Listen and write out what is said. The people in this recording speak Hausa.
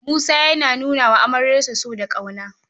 Musa yana nuna wa amaryarsa so da ƙauna.